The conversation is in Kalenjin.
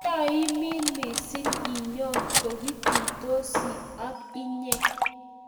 kioii minik misiing nyon kikitusiotii ak inyee